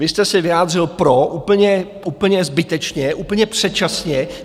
Vy jste se vyjádřil pro úplně zbytečně, úplně předčasně.